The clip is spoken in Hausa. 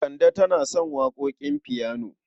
Kande tana son waƙoƙin fiyano.